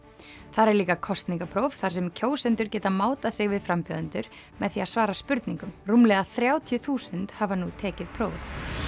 þar er líka kosningapróf þar sem kjósendur geta mátað sig við frambjóðendur með því að svara spurningum rúmlega þrjátíu þúsund hafa nú tekið prófið